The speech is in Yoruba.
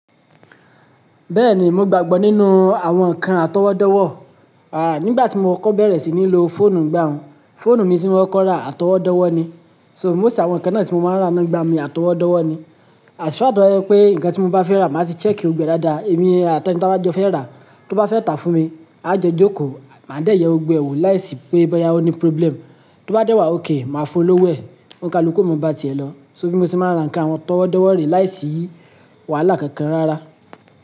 Bẹ́ẹ̀ni, mo gbàgbọ́ nínú àwọn nǹkan àtọwọ́dọ́wọ̀. Nígbà tí mo kọ́ bẹ̀rẹ̀ sí ní lo fóònù ìgbà òun, fóònù mi tí mo kọ́ko ra àtọwọ́dọ́wọ̀ ni. So, most àwọn ǹkan náà tí mo máa ń rà náà n gbà mi àtọwọ́dọ́wọ̀ ni. Às far tó bá jẹ́ pé ǹkan tí mo bá fẹ́ rà, màá tì check gbogbo ẹ̀ dáadáa. Èmi àti ẹni ta bá jọ fẹ́ rà, tó bá fẹ́ tàá fún mi, a jọ jókòó, màá dẹ̀ yẹ gbogbo e wò láìsí pé bọ́yá ó ní problem. Tó bá dé wá òkè, màá fún lọ́wọ́ ẹ̀. Òun ka lu ku o ma bá ti è lọ̀. So bí mo ṣe máa ń rà ǹkan àtọwọ́dọ́wọ̀ re láìsí wàhálà kankan rárá.